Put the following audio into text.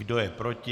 Kdo je proti?